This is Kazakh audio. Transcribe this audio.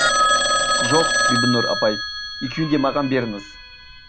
жоқ бибінұр апай екеуін де маған беріңіз